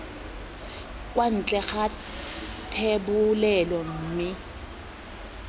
kwa ntle ga thebolelo mme